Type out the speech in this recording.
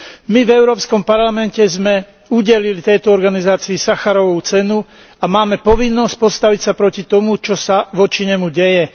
My v Európskom parlamente sme udelili tejto organizácií Sacharovovu cenu a máme povinnosť postaviť sa proti tomu, čo sa voči nemu deje.